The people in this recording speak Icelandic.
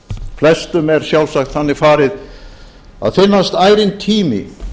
flestum er sjálfsagt þannig farið að finnast ærinn tími